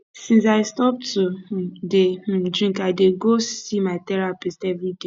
since i stop to um dey um drink i dey go see my therapist everyday